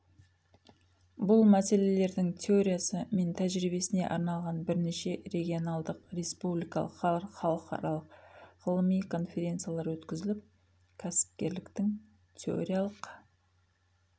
бұл мәселелердің теориясы мен тәжірибесіне арналған бірнеше регионалдық республикалық халықаралық ғылыми конференциялар өткізіліп кәсіпкерліктің теориялық